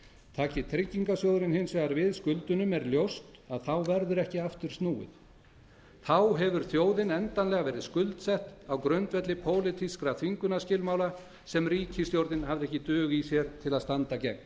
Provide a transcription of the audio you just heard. taki tryggingarsjóðurinn hins vegar við skuldunum er ljóst að þá verður ekki aftur snúið þá hefur þjóðin endanlega verið skuldsett á grundvelli pólitískra þvingunarskilmála sem ríkisstjórnin hafði ekki dug í sér til að standa gegn